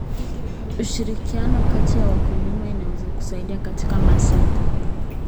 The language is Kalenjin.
Ushirikiano kati ya wakulima unaweza kusaidia katika masoko.